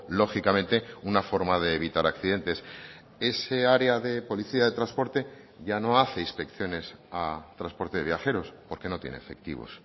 lógicamente una forma de evitar accidentes esa área de policía de transporte ya no hace inspecciones a transporte de viajeros porque no tiene efectivos